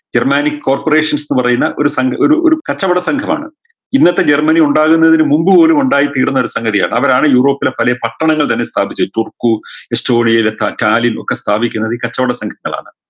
jarmanic corporations ന്ന് പറയുന്ന ഒരു സംഘ ഒരു ഒരു കച്ചവട സംഘമാണ് ഇന്നത്തെ ജർമനി ഉണ്ടാകുന്നതിന് മുമ്പ് മുതല് ഉണ്ടായിത്തീർന്ന ഒരു സംഗതിയാണ് അവരാണ് യൂറോപ്പിലെ പലേ പട്ടണങ്ങൾ തന്നെ സ്ഥാപിച്ചത് തുർക്കു ഒക്കെ സ്ഥാപിക്കുന്നത് ഈ കച്ചോട സംഘങ്ങളാണ്